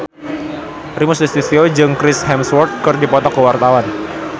Primus Yustisio jeung Chris Hemsworth keur dipoto ku wartawan